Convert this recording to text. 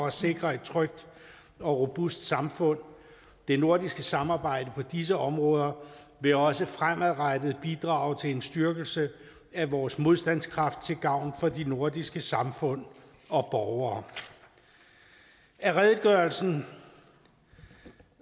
at sikre et trygt og robust samfund det nordiske samarbejde på disse områder vil også fremadrettet bidrage til en styrkelse af vores modstandskraft til gavn for de nordiske samfund og borgere af redegørelsen